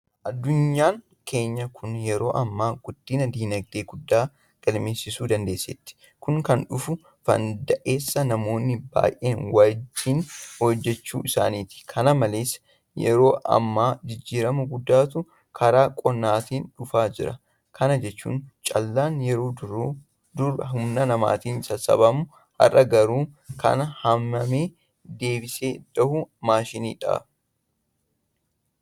Addunyaan keenya kun yeroo ammaa guddina diinagdee guddaa galmeessisuu dandeesseetti. Kun kan dhufuu fanda'es namoonni baay'een wajjin hojjechuu isaaniitiini. Kana malees yeroo ammaa jijjiirama guddaatu karaa qonnaatiiin dhufaa jira. Kana jechuun callaan yeroo duruu humna namaatiin sassaabama. Har'a garuu kan haamee deebisee dhahun maashinadha.